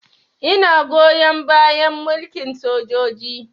Ina goyon bayan mulkin sojoji